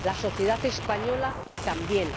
la sociedad española, también.